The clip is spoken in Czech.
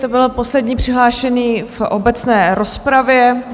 To byl poslední přihlášený v obecné rozpravě.